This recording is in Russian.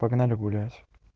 погнали гулять